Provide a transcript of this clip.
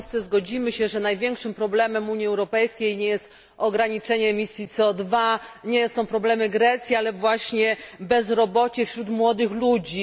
Wszyscy zgodzimy się, że największym problemem Unii Europejskiej nie jest ograniczenie emisji CO nie są problemy Grecji, ale właśnie bezrobocie wśród młodych ludzi.